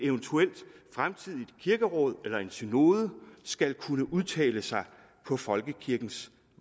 fremtidigt kirkeråd eller en synode skal kunne udtale sig på folkekirkens